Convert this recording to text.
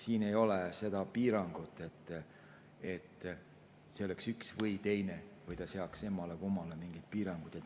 Siin ei ole seda piirangut, et see oleks üks või teine või ta seaks emmale-kummale mingid piirangud.